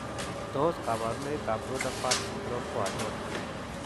Tos kabarunoik ab Rutherfurd syndrome ko achon?